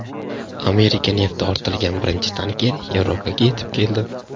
Amerika nefti ortilgan birinchi tanker Yevropaga yetib keldi.